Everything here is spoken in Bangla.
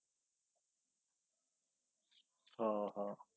হ হ